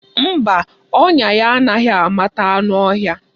Mba, ọnya ya anaghị amata anụ ọhịa.